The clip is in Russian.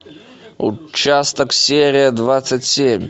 участок серия двадцать семь